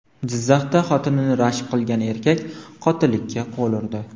Jizzaxda xotinini rashk qilgan erkak qotillikka qo‘l urdi.